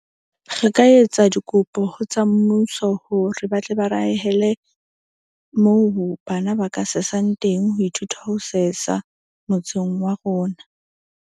Re ka etsa dikopo ho tsa mmuso hore ba tle ba re ahele moo bana ba ka sesang teng. Ho ithuta ho sesa motseng wa rona.